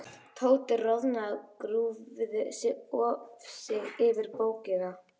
Tóti roðnaði og grúfði sig yfir bókina.